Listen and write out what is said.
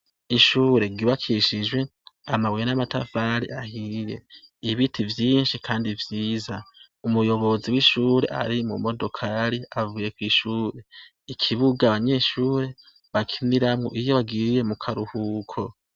Ishure ry’ibakishijwe amabuye n’amatafari ahiye, ibiti vyinshi Kandi vyiza. Umuyobozi wishure ari mumodokari avuye kw’ishure. Ikibuga abanyeshure bakiniramwo iyo bagiye mukaruhuko.